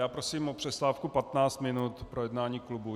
Já prosím o přestávku 15 minut pro jednání klubu.